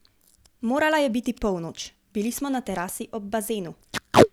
Morala je biti polnoč, bili smo na terasi ob bazenu.